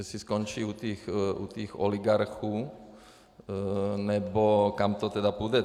Jestli skončí u těch oligarchů, nebo kam to tedy půjde.